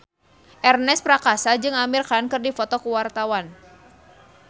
Ernest Prakasa jeung Amir Khan keur dipoto ku wartawan